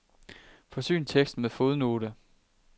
Forsyn teksten med fodnote.